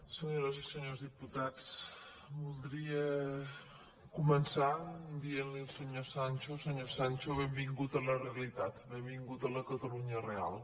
senyores i senyors dipu·tats voldria començar dient·li al senyor sancho senyor sancho benvingut a la realitat benvingut a la catalunya real